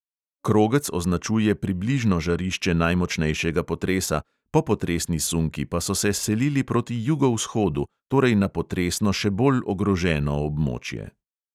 Krogec označuje približno žarišče najmočnejšega potresa, popotresni sunki pa so se selili proti jugovzhodu, torej na potresno še bolj ogroženo območje.